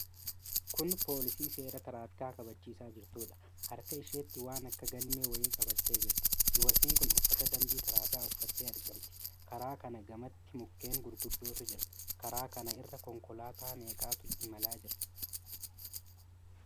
Kun poolisii seera tiraafikaa kabachisaa jirtuudha. harka isheetti waan akka galmee wayii qabattee jirti. Dubartiin kun uffata dambii tiraafikaa uffatte argamti. Karaa kana gamatti mukkeen gurguddootu jira. Karaa kana irra konkoolaataa meeqatu imalaa jira?